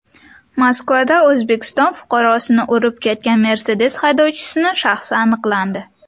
Moskvada O‘zbekiston fuqarosini urib ketgan Mercedes haydovchisining shaxsi aniqlandi.